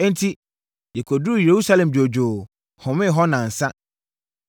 Enti, yɛkɔduruu Yerusalem dwoodwoo, homee hɔ nnansa.